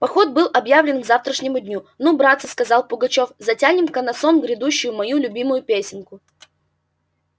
поход был объявлен к завтрашнему дню ну братцы сказал пугачёв затянем-ка на сон грядущий мою любимую песенку